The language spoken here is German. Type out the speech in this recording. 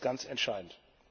Das ist ganz entscheidend.